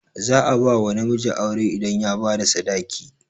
Za a bawa namiji aure idan ya bada sadaki